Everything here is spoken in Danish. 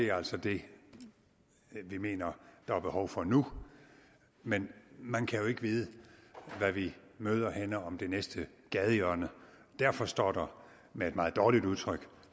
er altså det vi mener der er behov for nu men man kan jo ikke vide hvad vi møder henne om det næste gadehjørne derfor står der med et meget dårligt udtryk